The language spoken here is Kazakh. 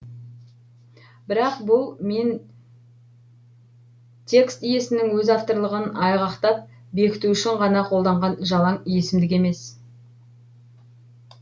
бірақ бұл мен текст иесінің өз авторлығын айғақтап бекіту үшін ғана қолданған жалаң есімдік емес